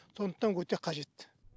сондықтан өте қажет